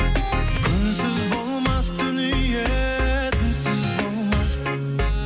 күнсіз болмас дүние түнсіз болмас